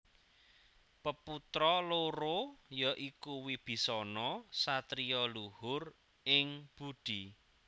Peputra loro ya iku Wibisana satriya luhur ing budi